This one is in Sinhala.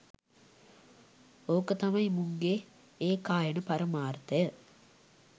ඕක තමයි මුන්ගේ ඒකායන පරමාර්ථය